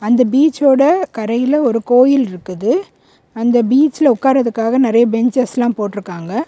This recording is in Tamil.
இந்த பீச்சோட கரையில ஒரு கோயில்ருக்குது அந்த பீச்ல உட்காரதற்காக நறைய பென்சஸ்லாம் போடுருக்காங்க.